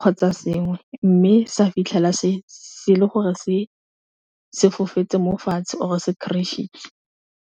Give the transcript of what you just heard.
kgotsa sengwe mme sa fitlhela se le gore se sefofane mo fatshe or se crashitse.